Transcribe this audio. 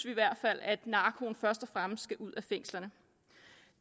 i hvert fald at narkoen først og fremmest skal ud af fængslerne